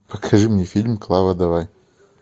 покажи мне фильм клава давай